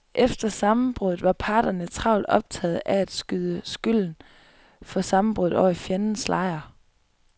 Efter sammenbruddet var parterne travlt optaget af at skyde skylden for sammenbruddet over i fjendens lejr.